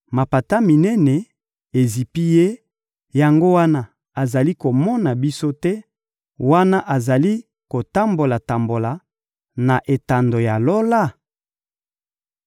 Mapata minene ezipi Ye, yango wana azali komona biso te, wana azali kotambola-tambola na etando ya Lola?